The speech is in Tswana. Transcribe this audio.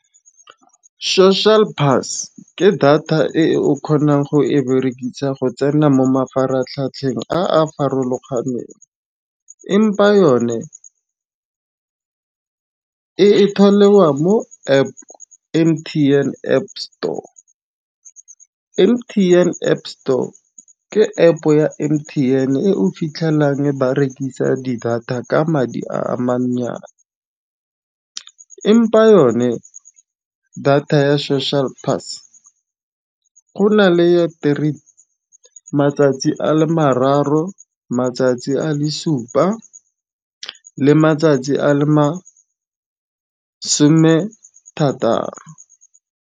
Social pass ke data e o kgonang go e berekisa go tsena mo mafaratlhatlheng a a farologaneng. Empa yone ka e tswalelwa mo App M_T_N App store. M_T_N App store ke App ya M_T_N e o fitlhelang ba rekisa di data ka madi a mantsinyana. Empa yone data ya social pass go na le ya matsatsi a le mararo matsatsi a le supa le matsatsi a le masome thataro.